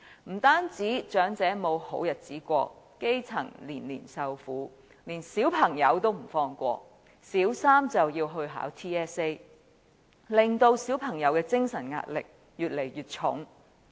不單長者沒有好日子過，基層年年受苦，就連小朋友也不放過，小三就要考 TSA， 令小朋友的精神壓力越來越沉重。